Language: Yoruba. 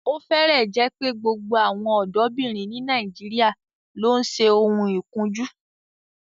Ó fẹ́rẹ̀ẹ́ jẹ́ pé gbogbo àwọn ọ̀dọ́bìnrin ní Nàìjíríà ló ń ṣe oun ikunju